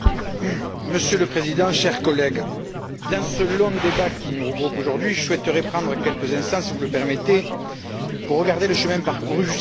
Monsieur le Président, chers collègues, dans ce long débat qui nous regroupe aujourd'hui, je souhaiterais prendre quelques instants, si vous le permettez, pour regarder le chemin parcouru jusqu'ici.